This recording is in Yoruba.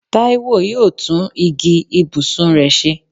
Táíwò yóò tún igi ibùsùn rẹ̀ ṣe